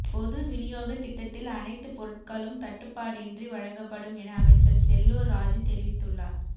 பொது விநியோக திட்டத்தில் அனைத்து பொருட்களும் தட்டுப்பாடின்றி வழங்கப்படும் என அமைச்சர் செல்லூர் ராஜூ தெரிவித்துள்ளார்